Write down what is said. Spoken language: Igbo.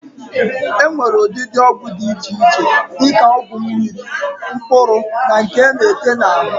E nwere ụdịdị ọgwụ di iche iche di ka ọgwụ mmiri, mkpụrụ na nke a na-ete n'ahụ.